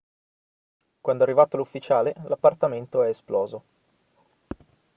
quando è arrivato l'ufficiale l'appartamento è esploso